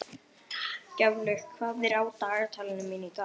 Gjaflaug, hvað er á dagatalinu mínu í dag?